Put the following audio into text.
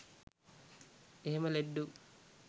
එහෙම ලෙඩ්ඩු